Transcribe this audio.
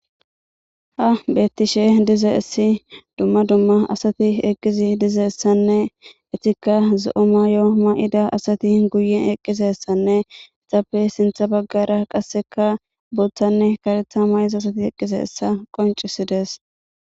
Ha bettishe dize essi dumma dumma asati eqqizi dizeessanne etika zo7o mayo may7ida asati guye eqqisessanne ixappe sintha baggara qasseka booththanne karetha may7iza asati eqqise essa qoncisidees.